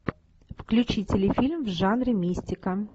включи телефильм в жанре мистика